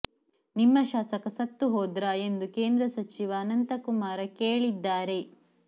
ನಿಮ್ಮ ಶಾಸಕ ಸತ್ತು ಹೋದ್ರಾ ಎಂದು ಕೇಂದ್ರ ಸಚಿವ ಅನಂತಕುಮಾರ ಕೇಳಿದ್ದಾರೆ